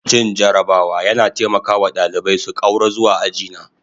Cin jarabawa yana taimaka wa ɗalibai su ƙaura zuwa aji na